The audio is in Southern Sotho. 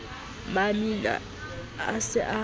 mamina a se a kopane